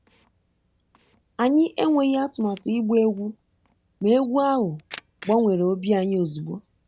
Anyị enweghị atụmatụ ịgba egwú, ma egwú ahụ gbanwere obi anyị ozugbo